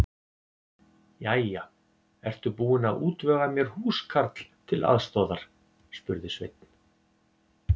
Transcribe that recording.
Jæja, ertu búin að útvega mér húskarl til aðstoðar? spurði Sveinn.